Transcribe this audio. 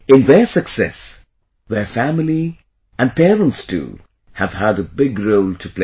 In their success, their family, and parents too, have had a big role to play